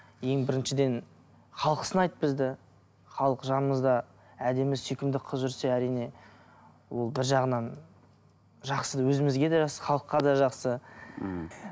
ең біріншіден халық сынайды бізді халық жанымызда әдемі сүйкімді қыз жүрсе әрине ол бір жағынан жақсы өзімізге де жақсы халыққа да жақсы мхм